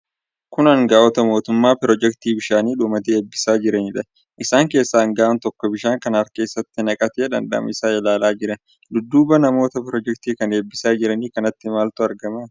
Kun anga'oota mootummaa pirojeektii bishaanii dhumate, eebbisiisaa jiranidha. Isaan keessaa anga'aan tokko bishaan kana harka isaatti naqatee dhandhama isaa ilaalaa jira. Dudduuba namoota pirojeektii kana ebbisaa jiran kanaatti maaltu argama?